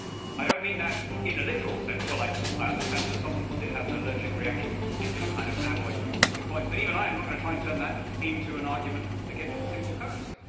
I do not mean that in a literal sense while I understand that some people did have an allergic reaction to the particular kind of alloy used in the coins, even I am not going to try and turn that into an argument against the single currency.